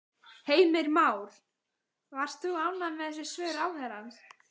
Heimir Már: Varst þú ánægð með þessi svör ráðherrans?